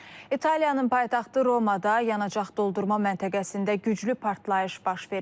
İtaliyanın paytaxtı Romada yanacaq doldurma məntəqəsində güclü partlayış baş verib.